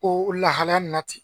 Ko lahalaya nin na ten .